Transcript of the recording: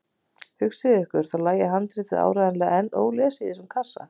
Hugsið ykkur, þá lægi handritið áreiðanlega enn ólesið í þessum kassa!